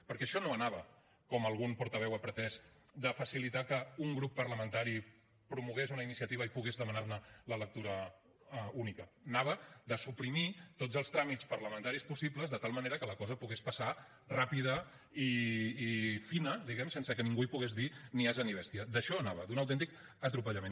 perquè això no anava com algun portaveu ha pretès de facilitar que un grup parlamentari promogués una iniciativa i pogués demanar ne la lectura única anava de suprimir tots els tràmits parlamentaris possibles de tal manera que la cosa pogués passar ràpida i fina diguem ne sense que ningú hi pogués dir ni ase ni bestia d’això anava d’un autèntic atropellament